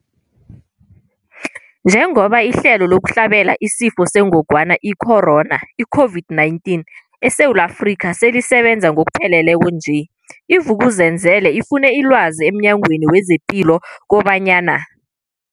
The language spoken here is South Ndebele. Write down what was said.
Njengoba ihlelo lokuhlabela isiFo sengogwana i-Corona, i-COVID-19, eSewula Afrika selisebenza ngokupheleleko nje, i-Vuk'uzenzele ifune ilwazi emNyangweni wezePilo kobanyana.